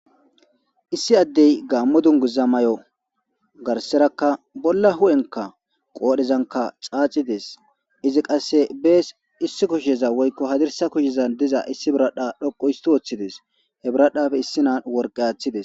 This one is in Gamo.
issi addey gaammo dunguza may7o garserakka bolla hu7enka qoodhezanka caacides izi qasse bees issi kusheza woykko hadirsa kushezan diza issi biradha dhoqu isti woththides he biradhafe issinan worqe athides